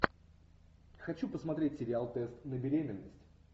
хочу посмотреть сериал тест на беременность